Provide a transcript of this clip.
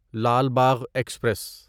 Lal Bagh express